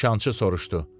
Nişançı soruşdu.